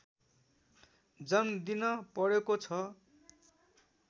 जन्मदिन परेको छ